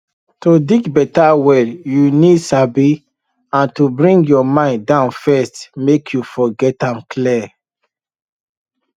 to dig better well you need sabi and to bring your mind down first make you for get am clear